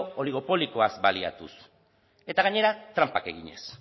oligopolioaz baliatuz eta gainera tranpak eginez